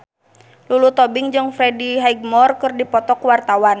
Lulu Tobing jeung Freddie Highmore keur dipoto ku wartawan